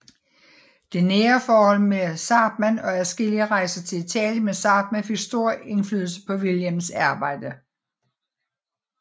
Det nære forhold med Zahrtmann og adskillige rejser til Italien med Zahrtmann fik stor indflydelse på Wilhjelms arbejde